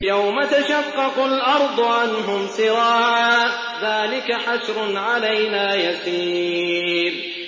يَوْمَ تَشَقَّقُ الْأَرْضُ عَنْهُمْ سِرَاعًا ۚ ذَٰلِكَ حَشْرٌ عَلَيْنَا يَسِيرٌ